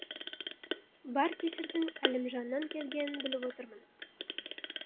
бар кесірдің әлімжаннан келгенін біліп отырмын